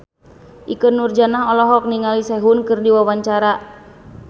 Ikke Nurjanah olohok ningali Sehun keur diwawancara